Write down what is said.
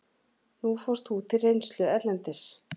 Nú fórst þú til reynslu erlendis.